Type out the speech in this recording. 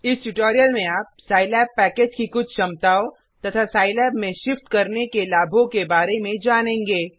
इस ट्यूटोरियल में आप सिलाब पैकेज की कुछ क्षमताओं तथा सिलाब में शिफ्ट करने के लाभों के बारे में जानेंगें